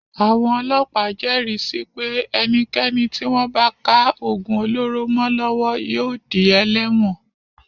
Àwon ọlọ́pàá jẹ́ẹ̀rí si pé ẹnikẹ́ni tí wọ́n bá ká ògùn olóró mọ́ lọ́wọ́ yóò di ẹlẹ́wọ̀n.